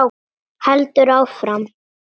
Heldur áfram: